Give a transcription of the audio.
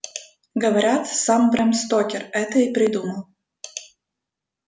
говорят сам брэм стокер это и придумал